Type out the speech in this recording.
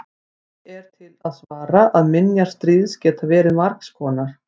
því er til að svara að minjar stríðs geta verið margs konar